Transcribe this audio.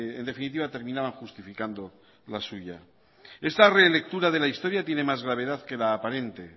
en definitiva terminaba justificando las suyas esta relectura de la historia tiene más gravedad que la aparente